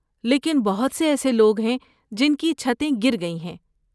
لیکن بہت سے ایسے لوگ ہیں جن کی چھتیں گر گئی ہیں۔